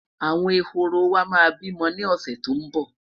àwọn ehoro wa bi mó ni ọsẹ tó n bo